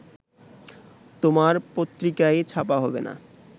তোমার পত্রিকাই ছাপা হবে না